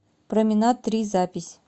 променад три запись